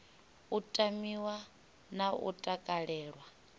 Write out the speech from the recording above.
u tamiwa na u takalelwa